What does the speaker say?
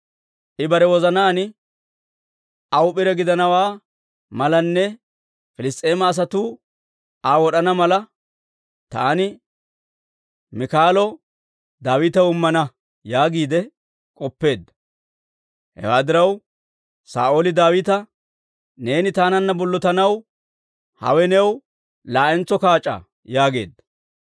I bare wozanaan, «Aw p'ire gidana malanne Piliss's'eema asatuu Aa wod'ana mala, taani Miikaalo Daawitaw immana» yaagiide k'oppeedda. Hewaa diraw, Saa'ooli Daawita, «Neeni taananna bollotanaw hawe new laa'entso kaac'aa» yaageedda.